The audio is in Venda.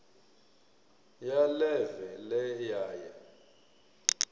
ya ḽeve ḽe ya ya